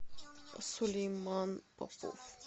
сулейман попов